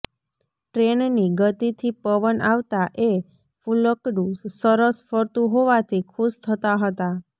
ટ્રેનની ગતિથી પવન આવતા એ ફુલકડું સરસ ફરતું હોવાથી ખુશ થતા હતા